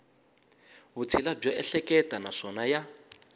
vutshila byo ehleketa naswona ya